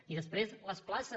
i després les places